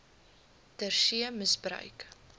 ter see misbruik